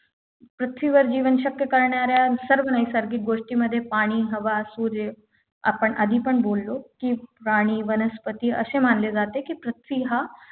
पृथ्वीवर जीवन शक्य करणाऱ्या सर्व नैसर्गिक गोष्टींमध्ये पाणी हवा सूर्य आपण आधी पण बोललो कि प्राणी वनस्पती अशे मानले जाते की पृथ्वी हा